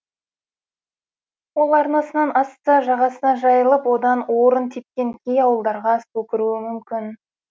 ол арнасынан асса жағасына жайылып ойда орын тепкен кей ауылдарға су кіруі мүмкін